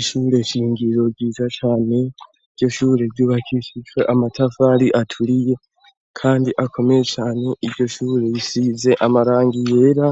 Ishure shingiro ryiza cane. Iryo shure ryubakishijwe amatafari aturiye kandi akomeye cane. Iryo shure risize amarangi yera